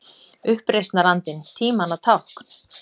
Uppreisnarandinn- tímanna tákn?